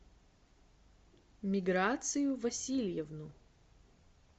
миграцию васильевну